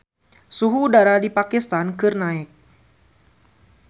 Suhu udara di Pakistan keur naek